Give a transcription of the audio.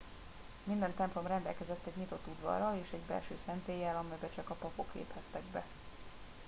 minden templom rendelkezett egy nyitott udvarral és egy belső szentéllyel amelybe csak a papok léphettek be